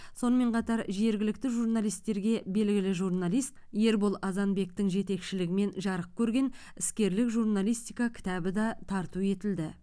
сонымен қатар жергілікті журналистерге белгілі журналист ербол азанбектің жетекшілігімен жарық көрген іскерлік журналистика кітабы да тарту етілді